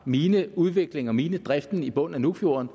mineudviklingen og minedriften i bunden af fjorden